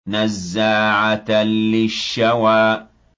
نَزَّاعَةً لِّلشَّوَىٰ